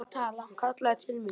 Hann kallaði til mín.